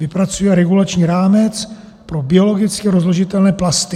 Vypracuje regulační rámec pro biologicky rozložitelné plasty.